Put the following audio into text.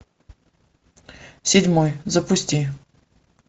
седьмой запусти